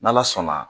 N'ala sɔnna